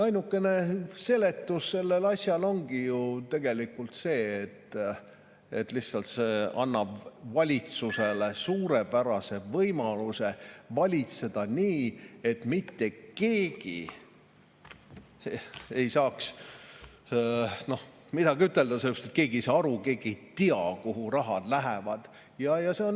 Ainukene seletus ongi tegelikult see, et see annab lihtsalt valitsusele suurepärase võimaluse valitseda nii, et mitte keegi ei saaks midagi ütelda, sellepärast et keegi ei saa aru, keegi ei tea, kuhu raha läheb.